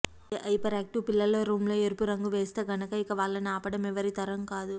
అదే హైపెరాక్టివ్ పిల్లల రూంలో ఎరుపు రంగు వేస్తే గనక ఇక వాళ్ళని ఆపటం ఎవరితరము కాదు